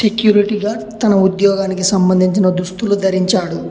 Security guard తన ఉద్యోగానికి సంబంధించిన దుస్తులు ధరించాడు.